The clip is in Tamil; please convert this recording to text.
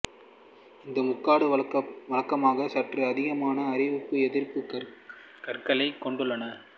இந்த முகடுகள் வழக்கமாக சற்று அதிகமான அரிப்பு எதிர்ப்புக் கற்களையே கொண்டுள்ளன